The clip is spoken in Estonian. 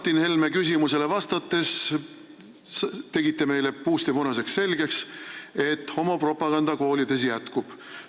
Martin Helme küsimusele vastates tegite meile puust ja punaselt selgeks, et homopropaganda koolides jätkub.